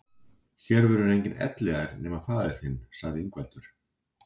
Hér verður enginn elliær nema faðir þinn, sagði Ingveldur.